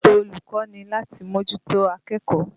Ẹ̀tọ́ olùkọ́ ni láti mójútó akẹ́kọ̀ọ́.